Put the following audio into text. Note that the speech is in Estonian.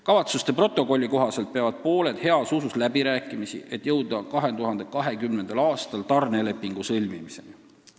Kavatsuste protokolli kohaselt peavad pooled heas usus läbirääkimisi, et jõuda 2020. aastal tarnelepingu sõlmimiseni.